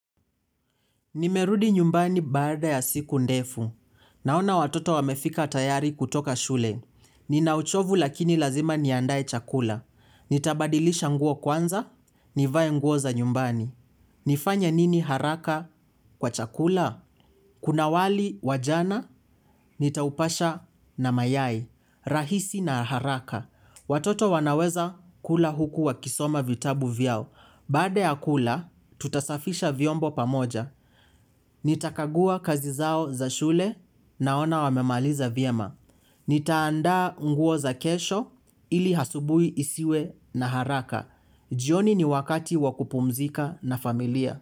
Nimerudi nyumbani baada ya siku ndefu. Naona watoto wamefika tayari kutoka shule. Nina uchovu lakini lazima niandae chakula. Nitabadilisha nguo kwanza, nivae nguo za nyumbani. Nifanya nini haraka kwa chakula? Kuna wali wa jana, nitaupasha na mayai, rahisi na haraka. Watoto wanaweza kula huku wakisoma vitabu vyao. Baada ya kula, tutasafisha viombo pamoja. Nitakagua kazi zao za shule naona wamemaliza vyema. Nitaandaa nguo za kesho ili asubuhi isiwe na haraka. Jioni ni wakati wakupumzika na familia.